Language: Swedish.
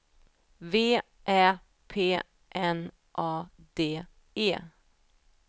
V Ä P N A D E